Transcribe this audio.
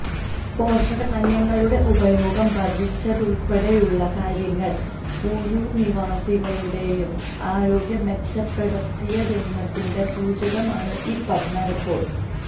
പോഷകധാന്യങ്ങളുടെ ഉപയോഗം വര്ധിച്ചതുള്പ്പടെയുള്ള കാര്യങ്ങള് ഊരുനിവാസികളുടെ ആരോഗ്യം മെച്ചപ്പെടുത്തിയെന്നതിന്റെ സൂചകമാണ് ഈ പഠനറിപ്പോര്ട്ട്